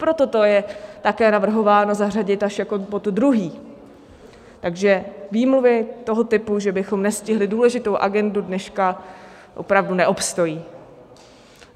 Proto to je také navrhováno zařadit až jako bod druhý, takže výmluvy toho typu, že bychom nestihli důležitou agendu dneška, opravdu neobstojí.